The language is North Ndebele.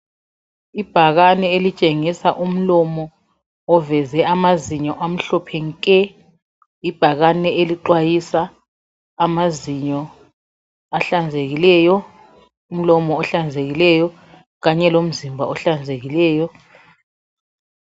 Ibhakane elitshengisa umlomo oveze amazinyo amhlophe nke. Ibhakane elixwayisa amazinyo ahlanzekileyo, umlomo ohlanzekileyo kanye lomzimba ohlanzekileyo.